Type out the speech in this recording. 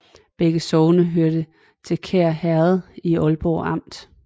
Begge sogne hørte til Kær Herred i Aalborg Amt